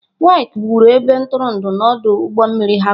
Wike wuru ebe ntụrụndụ na ọdụ ụgbọ mmiri Harcourt.